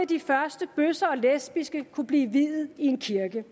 de første bøsser og lesbiske kunne blive viet i en kirke